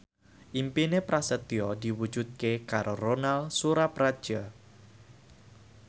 impine Prasetyo diwujudke karo Ronal Surapradja